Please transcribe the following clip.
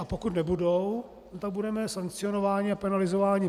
A pokud nebudou, tak budeme sankcionováni a penalizováni.